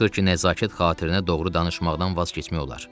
Belə çıxır ki, nəzakət xatirinə doğru danışmaqdan vaz keçmək olar.